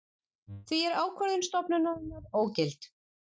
Því er ákvörðun stofnunarinnar ógilt